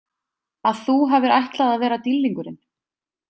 Að þú hafir ætlað að vera dýrlingurinn?